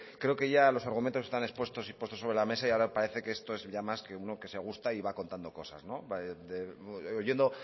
creo que ya los argumentos están expuestos y puestos sobre la mesa y ahora parece que esto es ya más que uno que se gusta y va contando cosas oyendo